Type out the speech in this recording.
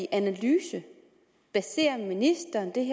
analyse baserer ministeren det